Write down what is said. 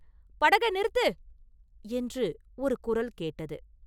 படகை நிறுத்து!” என்று ஒரு குரல் கேட்டது.